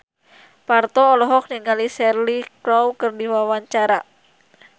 Parto olohok ningali Cheryl Crow keur diwawancara